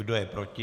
Kdo je proti?